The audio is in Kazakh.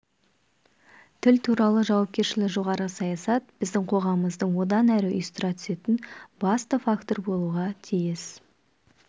тіл туралы жауапкершілігі жоғары саясат біздің қоғамымызды одан әрі ұйыстыра түсетін басты фактор болуға тиіс